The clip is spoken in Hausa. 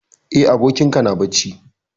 Eh, abokin ka na bacci.